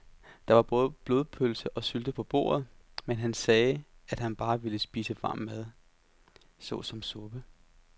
Der var både blodpølse og sylte på bordet, men han sagde, at han bare ville spise varm mad såsom suppe.